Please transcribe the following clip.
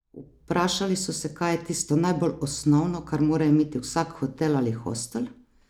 Vprašali so se, kaj je tisto najbolj osnovno, kar mora imeti vsak hotel ali hostel?